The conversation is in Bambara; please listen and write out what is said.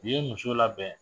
U ye muso labɛn